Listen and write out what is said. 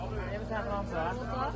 Yox, gəldən qapının zadı.